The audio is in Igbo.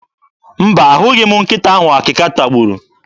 Mba, ahụghị m nkịta ahụ akịka tagburu.